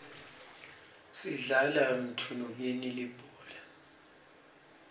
sidlala mthunukeni libhola